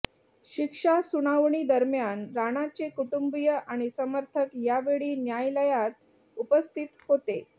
शिक्षा सुनावणीदरम्यान राणाचे कुटुंबिय आणि समर्थक यावेळी न्यायालयात उपस्थित होते